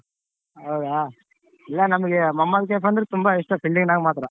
ಹೌದ ಇಲ್ಲ ನಮ್ಗೆ ಮಹಮದ್ದ್ ಕೈಫ್ ಅಂದ್ರೆ ಇಷ್ಟ fielding ನಾಗ್ ಮಾತ್ರ.